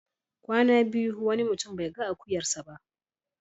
Kwana biyu wani mutum bai ga akuyarsa ba.